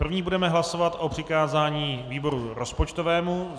Prvně budeme hlasovat o přikázání výboru rozpočtovému.